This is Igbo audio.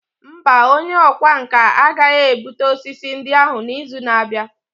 Mba, onye ọkwá nkà agaghị ebute osisi ndị ahụ n'izu na-abịa.